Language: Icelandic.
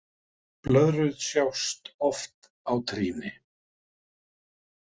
Blöðrur sjást oft á trýni.